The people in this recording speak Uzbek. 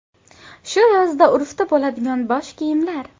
Shu yozda urfda bo‘ladigan bosh kiyimlar.